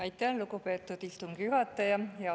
Aitäh, lugupeetud istungi juhataja!